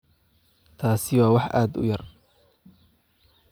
Taasi waa wax aad u yar.